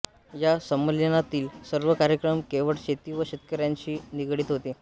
या संमेलनातील सर्व कार्यक्रम केवळ शेती व शेतकऱ्यांशी निगडित होते